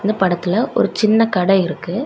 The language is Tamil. இந்த படத்துல ஒரு சின்ன கட இருக்கு.